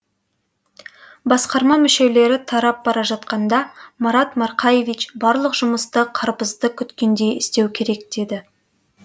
басқарма мүшелері тарап бара жатқанда марат марқаевич барлық жұмысты қарбызды күткендей істеу керек деді